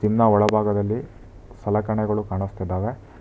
Gym ನ ಒಳಭಾಗದಲ್ಲಿ ಸಲಕರಣೆಗಳು ಕಾಣುಸ್ತಿದ್ದಾವೆ.